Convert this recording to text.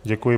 Děkuji.